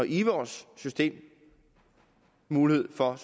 i vores system mulighed for at